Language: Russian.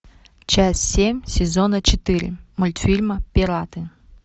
часть семь сезона четыре мультфильма пираты